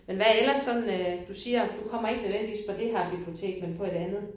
Men hvad ellers sådan øh du siger du kommer ikke nødvendigvis på det her bibliotek men på et andet?